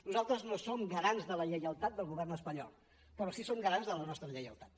nosaltres no som garants de la lleialtat del govern espanyol però sí som garants de la nostra lleialtat